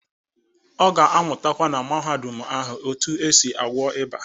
Ọ ga-amụtakwa na Mahadum ahụ otu esi agwọ iba.